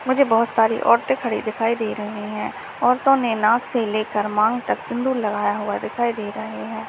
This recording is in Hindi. मुझे बहुत सारी औरतें खड़ी हुई दिखाई दे रही है औरत ने नाक से लेकर मांग तक सिंदूर लगा हुआ दिखाई दे रहा है।